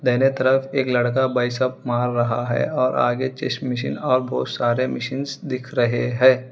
दाहिने तरफ एक लड़का बाइसेप्स मार रहा है और आगे चेस्ट मशीन और बहुत सारे मशीन्स दिख रहे है।